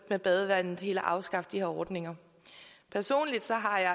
med badevandet helt at afskaffe de her ordninger personligt har jeg